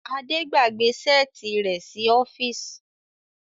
Ade gbàgbé Ṣẹ́ẹ̀tì rẹ sí ọfisi.